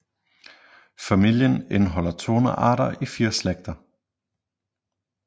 Familien indeholder 200 arter i 4 slægter